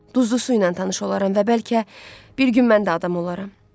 Duzlu suyla tanış olaram və bəlkə bir gün mən də adam olaram.